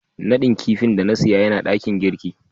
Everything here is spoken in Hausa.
nadin kidin da na siya Yana dakin girki.